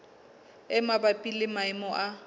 e mabapi le maemo a